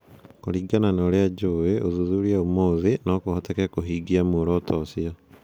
Kũringana na ũrĩa njũĩ "ũthuthuria ũmũthĩ ", no kũhoteke kũhingia muoroto ũcio.